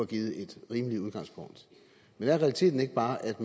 givet et rimeligt udgangspunkt men er realiteten ikke bare at